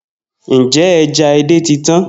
Njẹ ẹja édè ti tan?